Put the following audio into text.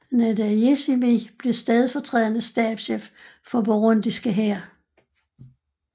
Ndayishimiye blev stedfortrædende stabschef for burundiske hær